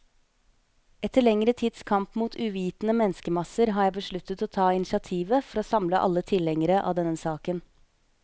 Etter lengre tids kamp mot uvitende menneskemasser, har jeg besluttet å ta initiativet for å samle alle tilhengere av denne saken.